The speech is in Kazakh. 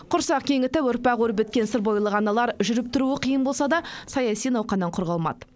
құрсақ кеңітіп ұрпақ өрбіткен сырбойлық аналар жүріп тұруы қиын болса да саяси науқаннан құр қалмады